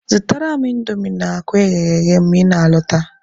Zụtara m indomi na akwa eghere eghe ma ị na-alọta.